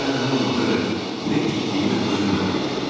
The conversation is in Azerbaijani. Mən həmin vaxtadək nə etdiyimi özüm də bilmirdim.